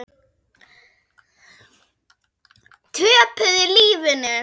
Töpuðu lífinu.